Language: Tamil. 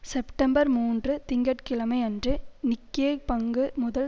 செப்டம்பர் மூன்று திங்க கிழமை அன்று நிக்கெய் பங்கு முதல்